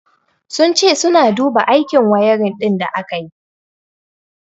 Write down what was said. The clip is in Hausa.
Sun ce suna duba aikin wiring din da aka yi.